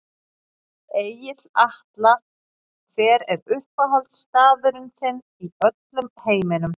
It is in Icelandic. Egill Atla Hver er uppáhaldsstaðurinn þinn í öllum heiminum?